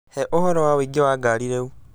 He ũhoro wa ũingĩ wa ngari rĩu